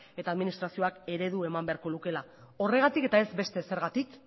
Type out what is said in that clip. eta administrazioak eredu eman beharko lukeela horregatik eta ez beste ezergatik